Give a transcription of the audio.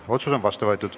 Otsus on vastu võetud.